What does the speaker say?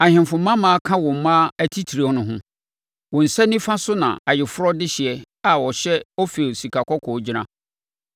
Ahemfo mmammaa ka wo mmaa atitire ho; wo nsa nifa so na ayeforɔ dehyeɛ a ɔhyɛ Ofir sikakɔkɔɔ gyina.